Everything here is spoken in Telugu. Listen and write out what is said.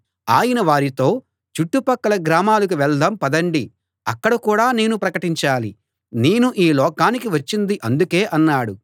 ఆయన వారితో చుట్టుపక్కల గ్రామాలకు వెళ్దాం పదండి అక్కడ కూడా నేను ప్రకటించాలి నేను ఈ లోకానికి వచ్చింది అందుకే అన్నాడు